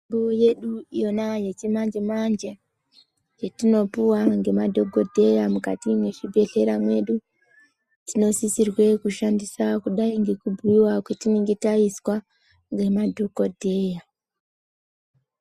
Mitombo yedu yona yechi manje manje yetino puwa nge madhokofheya mukati me chibhedhleya medu tino sisirwe kushandisa kudai ngeku buirwa kwatinenge taizwa nge madhokodheya.